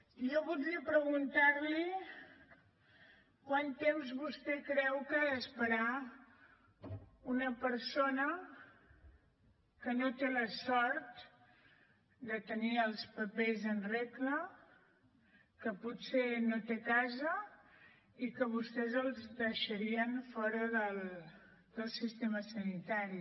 jo voldria preguntar li quant temps vostè creu que ha d’esperar una persona que no té la sort de tenir els papers en regla que potser no té casa i que vostès la deixarien fora del sistema sanitari